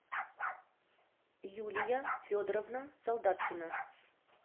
юлия федоровна солдаткина